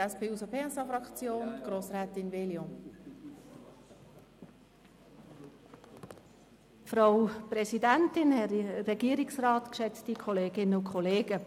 Ich gebe zuerst Grossrätin Veglio für die SP-JUSO-PSA-Fraktion das Wort.